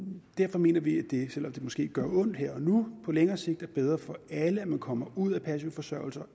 derfor mener vi at det selv om det måske gør ondt her og nu på længere sigt er bedre for alle at man kommer ud af passiv forsørgelse og